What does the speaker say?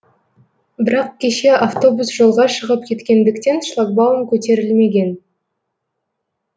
бірақ кеше автобус жолға шығып кеткендіктен шлагбаум көтерілмеген